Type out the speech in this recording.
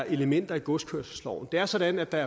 elementer i godskørselsloven det er sådan at der